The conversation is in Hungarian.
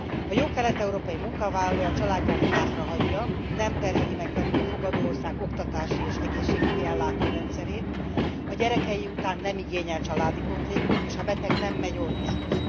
A jó kelet európai munkavállaló a családját hátrahagyja, nem terheli meg velük a fogadó ország oktatási és egészségügyi ellátó rendszerét, a gyerekei után nem igényel családi pótlékot, és ha beteg, nem megy orvoshoz.